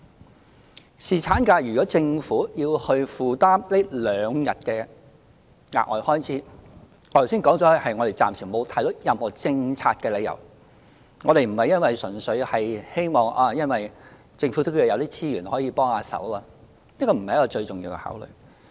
就侍產假，如果政府要負擔這兩天的額外開支，我剛才說過暫時沒有看到任何政策理由，我們不是純粹視乎政府有沒有資源可以幫手，這不是最重要的考慮。